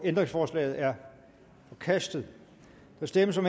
ændringsforslaget er forkastet der stemmes om